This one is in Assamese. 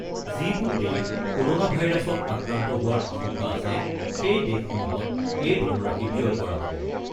যিবোৰ দেশ ক'ৰ'ণা ভাইৰাছত আক্ৰান্ত হোৱাৰ আশংকা আছে সেই দেশসমূহত এই ধনৰাশি ব্যয় কৰা হ'ব।